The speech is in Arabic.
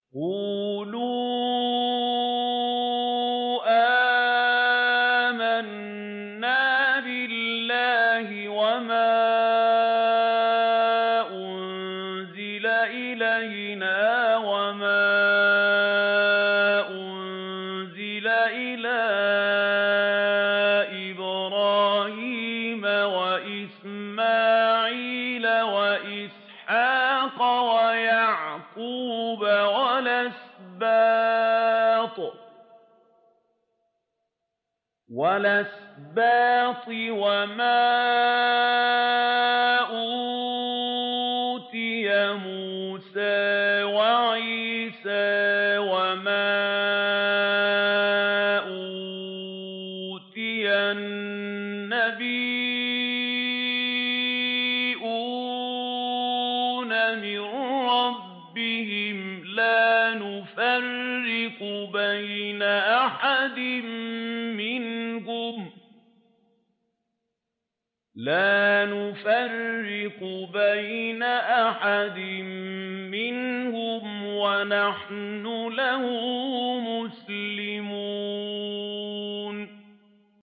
قُولُوا آمَنَّا بِاللَّهِ وَمَا أُنزِلَ إِلَيْنَا وَمَا أُنزِلَ إِلَىٰ إِبْرَاهِيمَ وَإِسْمَاعِيلَ وَإِسْحَاقَ وَيَعْقُوبَ وَالْأَسْبَاطِ وَمَا أُوتِيَ مُوسَىٰ وَعِيسَىٰ وَمَا أُوتِيَ النَّبِيُّونَ مِن رَّبِّهِمْ لَا نُفَرِّقُ بَيْنَ أَحَدٍ مِّنْهُمْ وَنَحْنُ لَهُ مُسْلِمُونَ